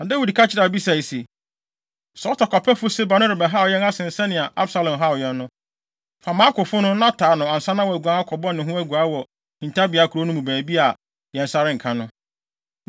Na Dawid ka kyerɛɛ Abisai se, “Saa ɔtɔkwapɛfo Seba no rebɛhaw yɛn asen sɛ nea Absalom haw yɛn no. Fa mʼakofo no, na taa no ansa na waguan akɔbɔ ne ho aguaa wɔ hintabea nkurow no mu baabi a yɛn nsa renka no.”